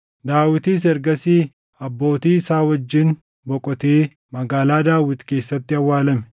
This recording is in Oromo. Daawitis ergasii abbootii isaa wajjin boqotee Magaalaa Daawit keessatti awwaalame.